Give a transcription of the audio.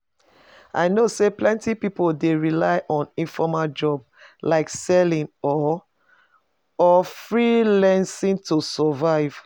i know say plenty people dey rely on informal jobs, like selling or or freelancing to survive.